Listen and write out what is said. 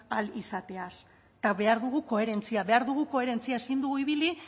ahal izateaz eta behar dugu koherentzia behar dugu koherentzia ezin dugu ibili